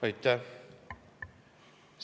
Aitäh!